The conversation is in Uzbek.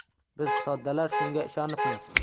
Biz soddalar shunga ishonibmiz.